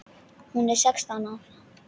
Hún er sextán ára.